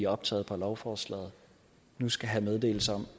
optaget på lovforslaget nu skal have meddelelse om